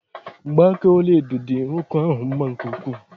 Mgba aka ọlaedo dị nwoke ahụ mma nke ukwuu.